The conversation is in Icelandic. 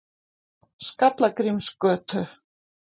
Skallagrímsgötu